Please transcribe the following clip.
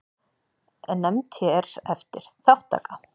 Nefnd hér eftir: Þátttaka.